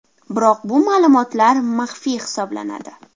Biroq bu ma’lumotlar maxfiy hisoblanadi.